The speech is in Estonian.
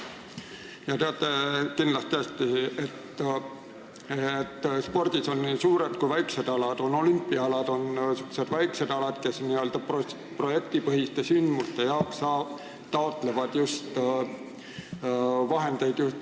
Te teate kindlasti hästi, et spordis on suured ja väiksed alad, on olümpiaalad ja n-ö väiksed alad, mille puhul taotletakse projektipõhiste sündmuste jaoks vahendeid just Hasartmängumaksu Nõukogust.